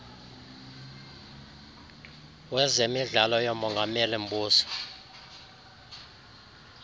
wezemidlalo yomongameli mbuso